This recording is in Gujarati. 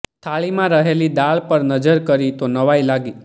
થાળીમાં રહેલી દાળ પર નજર કરી તો નવાઈ લાગી